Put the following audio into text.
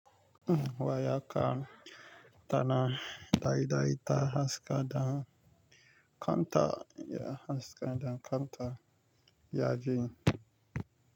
Uhm wayaka tana daidaita haska da kanta ya haska da kanta yajin.